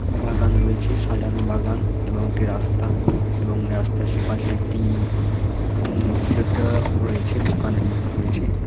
বাগানে রয়েছে সাজানো বাগান এবং একটি রাস্তা এবং রাস্তার সে পাশে একটি উম কিছু একটা রয়েছে দোকানের মত রয়েছে।